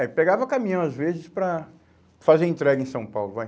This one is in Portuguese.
É, pegava caminhão às vezes para fazer entrega em São Paulo, vai.